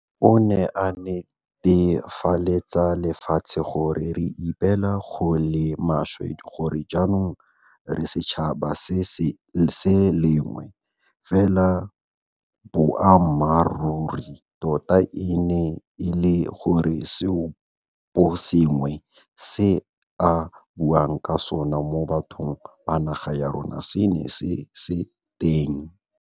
O ne a netefaletsa lefatshe gore, re ipela go le maswe gore jaanong re setšhaba se le sengwe. Fela boammaruri tota e ne e le gore seoposengwe se a buang ka sona mo bathong ba naga ya rona se ne se se teng.